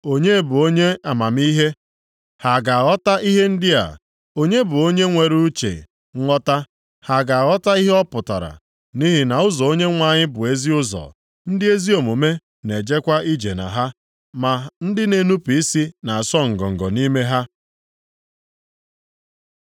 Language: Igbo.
Onye bụ onye amamihe? Ha ga-aghọta ihe ndị a. Onye bụ onye nwere uche nghọta? Ha ga-aghọta ihe ọ pụtara. Nʼihi na ụzọ Onyenwe anyị bụ ezi ụzọ. Ndị ezi omume na-ejekwa ije na ha, ma ndị na-enupu isi na-asọ ngọngọ nʼime ha.